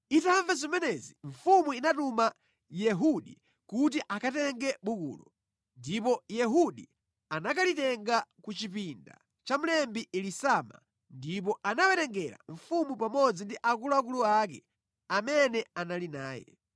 Itamva zimenezi mfumu inatuma Yehudi kuti akatenge bukulo, ndipo Yehudi anakalitenga ku chipinda cha mlembi Elisama ndipo anawerengera mfumu pamodzi ndi akuluakulu ake amene anali naye.